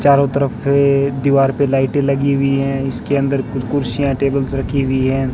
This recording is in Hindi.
चारों तरफ से दीवार पे लाइटे लगी हुई है इसके अंदर कुछ कुर्सियां टेबल्स रखी हुई है।